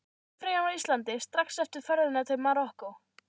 Í páskafríinu á Íslandi, strax eftir ferðina til Marokkó.